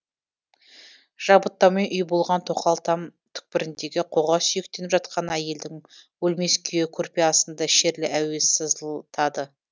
жабыттаумен үй болған тоқал там түкпіріндегі қоға сүйектеніп жатқан әйелдің өлмес күйі көрпе астында шерлі әуез сызылтады